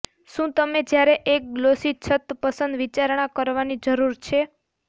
શું તમે જ્યારે એક ગ્લોસી છત પસંદ વિચારણા કરવાની જરૂર છે